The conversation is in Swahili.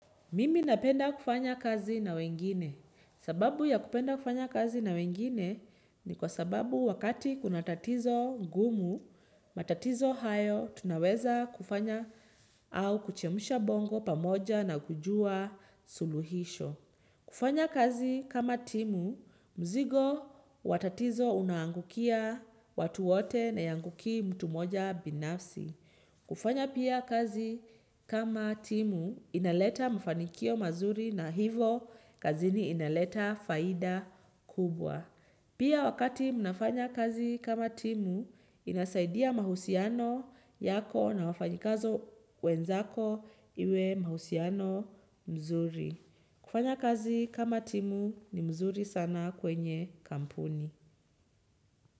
Mimi napenda kufanya kazi na wengine. Sababu ya kupenda kufanya kazi na wengine ni kwa sababu wakati kuna tatizo gumu, matatizo hayo, tunaweza kufanya au kuchemusha bongo pamoja na kujua suluhisho. Kufanya kazi kama timu, mzigo watatizo unangukia watu wote nayangukii mtu moja binafsi. Kufanya pia kazi kama timu inaleta mfanikio mazuri na hivo kazini inaleta faida kubwa. Pia wakati mnafanya kazi kama timu inasaidia mahusiano yako na wafanyikazo wenzako iwe mahusiano mzuri. Kufanya kazi kama timu ni mzuri sana kwenye kampuni.